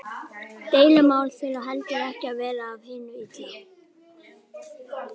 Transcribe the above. Deilumál þurfa heldur ekki að vera af hinu illa.